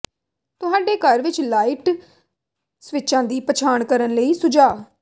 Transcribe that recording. ਤੁਹਾਡੇ ਘਰ ਵਿੱਚ ਲਾਈਟ ਸਵਿੱਚਾਂ ਦੀ ਪਛਾਣ ਕਰਨ ਲਈ ਸੁਝਾਅ